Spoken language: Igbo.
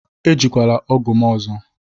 Ejikwala ọgụ m ọzọ!